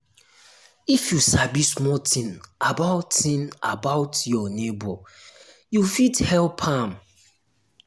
if you sabi small tin about tin about your nebor you fit um help am.